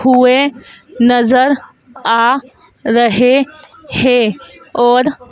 हुए नजर आ रहे हैं और--